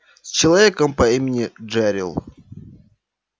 с человеком по имени джерилл